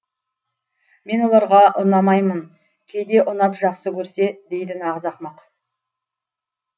мен оларға ұнамаймын кейде ұнап жақсы көрсе дейді нағыз ақымақ